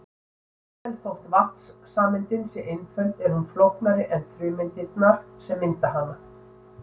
jafnvel þótt vatnssameindin sé einföld er hún flóknari en frumeindirnar sem mynda hana